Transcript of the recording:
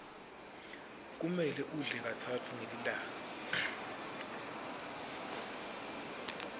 kumele udle katsatfu ngelilanga